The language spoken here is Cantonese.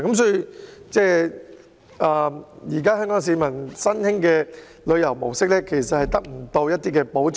所以，香港市民的新興旅遊模式，無法得到保障。